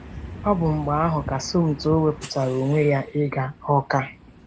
Ọ bụ mgbe ahụ ka Somto wepụtara onwe ya ịga Awka.